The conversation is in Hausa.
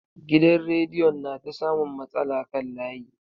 Gidan radiyon na ta samun matsala kan layi.